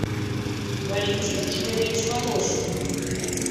валентин игоревич волошин